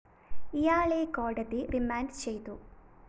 ഇയാളെ കോടതി റിമാൻഡ്‌ ചെയ്തു